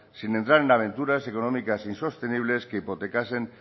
sin entrar en aventuras económicas insostenibles que hipotecasen